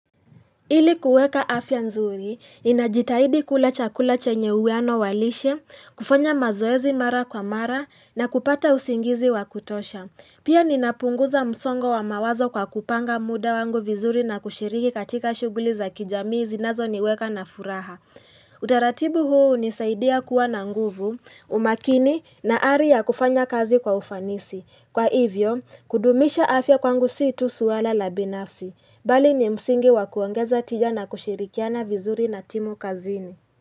Ili kuweka afya nzuri, inajitahidi kula chakula chenye uweano walishe, kufanya mazoezi mara kwa mara, na kupata usingizi wakutosha. Pia ninapunguza msongo wa mawazo kwa kupanga muda wangu vizuri na kushiriki katika shuguli za kijamii zinazo niweka na furaha. Utaratibu huu nisaidia kuwa na nguvu, umakini na ari ya kufanya kazi kwa ufanisi. Kwa hivyo, kudumisha afya kwangu siitu suwala la binafsi. Bali ni msingi wakuangaza tijana kushirikiana vizuri na timu kazini.